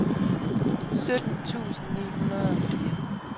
sytten tusind ni hundrede og fire